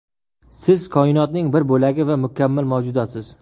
Siz koinotning bir bo‘lagi va mukammal mavjudotsiz.